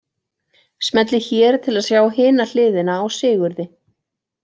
Smellið hér til að sjá hina hliðina á Sigurði.